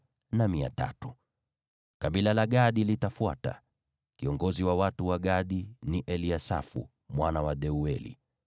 Kabila la Gadi litafuata. Kiongozi wa watu wa Gadi ni Eliasafu mwana wa Deueli.